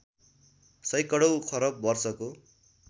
सैकडौँ खरब वर्षको